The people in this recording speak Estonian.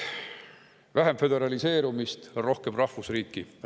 Vähem föderaliseerumist, rohkem rahvusriiki!